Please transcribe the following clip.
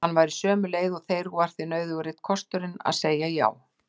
Hann var á sömu leið og þeir og því nauðugur einn kostur að segja já.